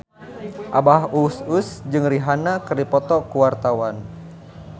Abah Us Us jeung Rihanna keur dipoto ku wartawan